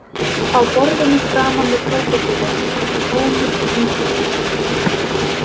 Á borðinu framan við krókódílinn var tómur hvítur diskur.